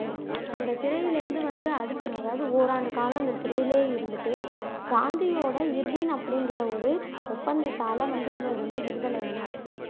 அந்த சிறையிலேந்து வந்து அடுத்த அதாவது ஓராண்டு காலம் அந்த சிறையிலேயே இருந்துட்டு காந்தியோட இர்வின் அப்படிங்கிற ஒரு ஒப்பந்தத்தால வந்து அவர் வந்து விடுதலை ஆனாரு